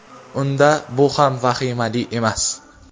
unda bu ham vahimali emas.